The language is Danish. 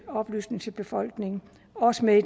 oplysning til befolkningen og også med i